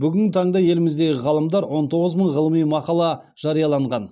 бүгінгі таңда еліміздегі ғалымдар он тоғыз мың ғылыми мақала жарияланған